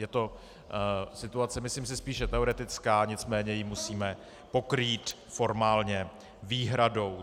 Je to situace, myslím si, spíše teoretická, nicméně ji musíme pokrýt formálně výhradou.